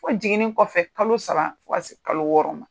Fo jiginni kɔfɛ kalo saba fɔ ka taa se kalo wɔɔrɔ ma